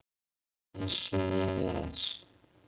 Eins og ég er.